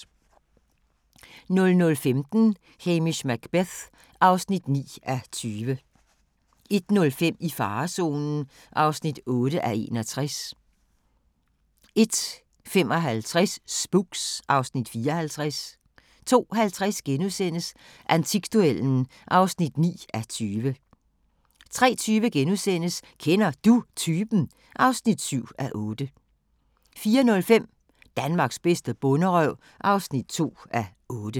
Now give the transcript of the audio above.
00:15: Hamish Macbeth (9:20) 01:05: I farezonen (8:61) 01:55: Spooks (Afs. 54) 02:50: Antikduellen (9:20)* 03:20: Kender Du Typen? (7:8)* 04:05: Danmarks bedste bonderøv (2:8)